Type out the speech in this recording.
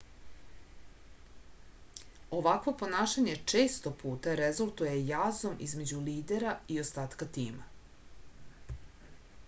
ovakvo ponašanje često puta rezultuje jazom između lidera i ostatka tima